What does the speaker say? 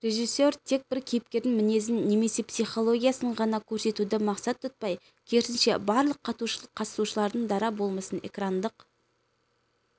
режиссер тек бір кейіпкердің мінезін немесе психологиясын ғана көрсетуді мақсат тұтпай керісінше барлық қатысушылардың дара болмысын экрандық